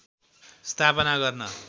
स्थापना गर्न